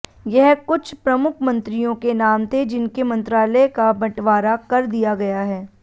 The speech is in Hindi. यह कुछ प्रमुख मंत्रियों के नाम थे जिनके मंत्रालय का बंटवारा कर दिया गया है